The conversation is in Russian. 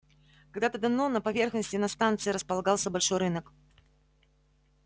когда-то давно на поверхности над станцией располагался большой рынок